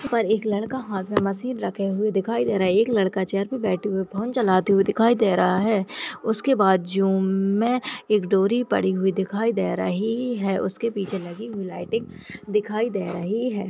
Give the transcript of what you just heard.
पर एक लड़का हाथ में मशीन रखे हुए दिखाई दे रहा है एक लड़का चेयर पे बैठे हुए फोन चलते हुए दिखाई दे रहा है उसके बाजू म में एक डोरी पड़ी हुई दिखाई दे रही है उसके पीछे लगी हुई लाइटिंग दिखाई दे रही है।